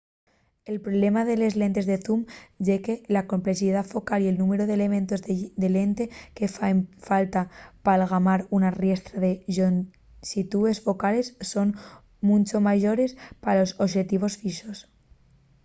el problema de les lentes de zoom ye que la complexidá focal y el númberu d’elementos de lente que faen falta p’algamar una riestra de llonxitúes focales son muncho mayores que pa los oxetivos fixos